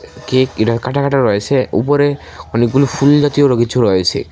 Cake কাটা কাটা রয়েছে উপরে অনেকগুলো ফুল জাতীয় আরও কিছু রয়েছে।